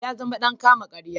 Ya zama dan kama-karya.